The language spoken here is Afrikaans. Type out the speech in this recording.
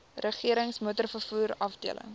regerings motorvervoer afdeling